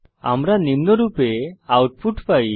আমরা নিম্নরূপে আউটপুট পাই